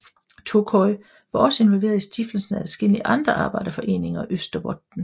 Tokoi var også involveret i stiftelsen af adskillige andre arbejderforeninger i Österbotten